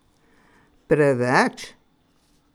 Preveč?